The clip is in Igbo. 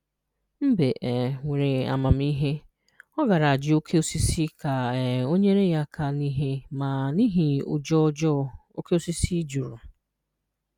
Mbe um nwere amamihe, ọ gaara àjụ́ oke osisi ka um ọ nyere ya aka n’ihe, ma n’ihi ụjọ ọjọọ, oke osisi jụrụ.